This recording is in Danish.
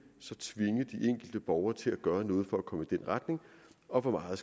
enkelte borgere til at gøre noget for at komme i den retning og hvor meget